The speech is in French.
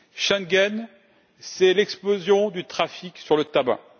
Schengen, c'est l'explosion du trafic du tabac.